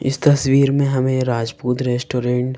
इस तस्वीर में हमें राजपूत रेस्टोरेंट --